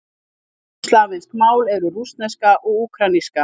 Austurslavnesk mál eru: rússneska og úkraínska.